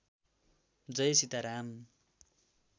Jay Sitaram